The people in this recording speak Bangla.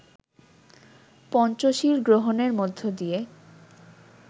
পঞ্চশীল গ্রহণের মধ্য দিয়ে